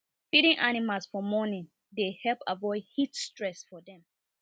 feeding animals for morning dey help avoid heat stress for dem